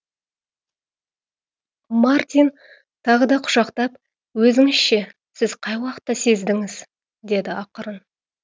мартин тағы да құшақтап өзіңіз ше сіз қай уақытта сездіңіз деді ақырын